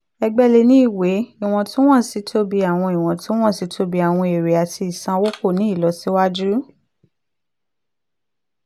ẹgbẹ́ lè ní ìwé ìwọ̀ntúnwọ̀nsí tóbi àwọn ìwọ̀ntúnwọ̀nsí tóbi àwọn èrè àti ìsanwó kò ní ìlọsíwájú.